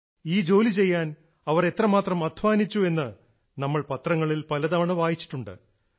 ഈ ജോലി ചെയ്യാൻ അവർ എത്ര മാത്രം അദ്ധ്വാനിച്ചു എന്ന് നമ്മൾ പത്രങ്ങളിൽ പല തവണ വായിച്ചിട്ടുണ്ട്